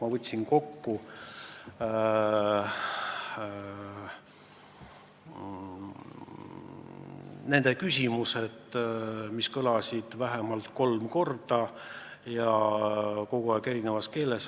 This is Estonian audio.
Ma võtsin kokku nende küsimused, mis kõlasid vähemalt kolm korda ja eri keeltes.